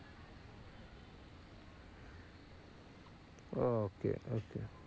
okay okay